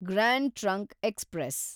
grand trunk express